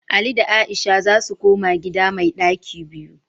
Ali da Aisha za su koma gida mai ɗaki biyu